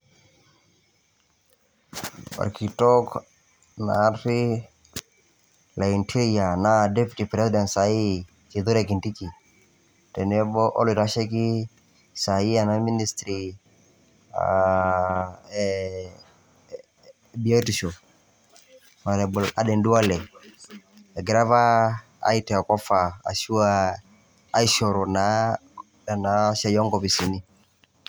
Orkitok naari le interior naa deputy president sahii Kithure Kindiki , tenebo oloitasheiki ena ministry aa ee biotisho, Aden Duale, egira apa ataa offer ashuaa aishoru naa ena siai oonkopisin .